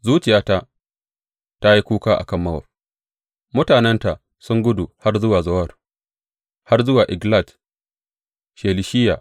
Zuciyata ta yi kuka a kan Mowab; mutanenta sun gudu har zuwa Zowar, har zuwa Eglat Shelishiya.